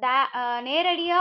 டே~ அஹ் நேரடியா